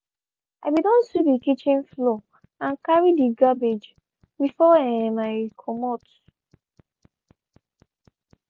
i be don sweep de kitchen floor and carry de cabbage before um i comot.